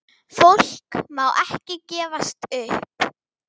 Fólk má ekki gefast upp.